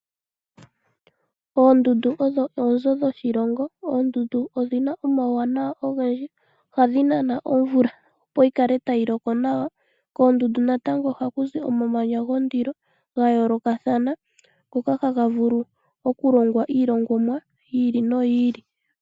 Oondundu odho oonzo dhoshilongo. Oondundu odhina omauwanawa ogendji, ohadhi nana omvula opo yi kale tayi loko nawa. Koondundu natango ohaku zi omamanya gondilo ga yoolokathana ngoka haga vulu okulongwa iilongomwa yi ili noyi ili.